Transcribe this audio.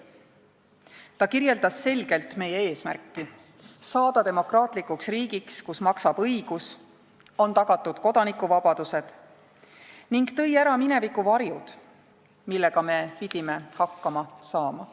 Ta kirjeldas selgelt meie eesmärki – saada demokraatlikuks riigiks, kus maksab õigus, on tagatud kodanikuvabadused – ning tõi ära mineviku varjud, millega me pidime hakkama saama.